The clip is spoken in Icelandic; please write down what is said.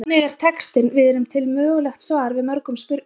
Þannig er textinn Við erum til mögulegt svar við mörgum spurningum.